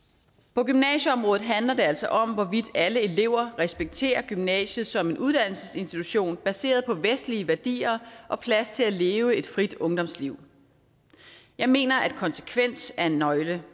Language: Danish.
på gymnasieområdet handler det altså om hvorvidt alle elever respekterer gymnasiet som en uddannelsesinstitution baseret på vestlige værdier og plads til at leve et frit ungdomsliv jeg mener at konsekvens er en nøgle